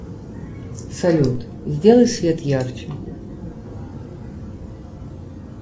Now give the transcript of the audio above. салют сделай свет ярче